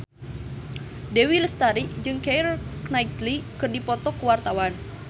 Dewi Lestari jeung Keira Knightley keur dipoto ku wartawan